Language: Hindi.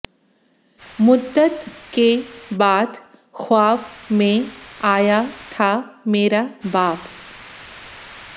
मुद्दत के बाद ख़्वाब में आया था मेरा बाप